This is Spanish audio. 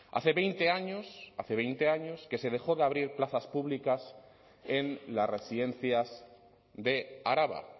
hace veinte años hace veinte años que se dejó de abrir plazas públicas en las residencias de araba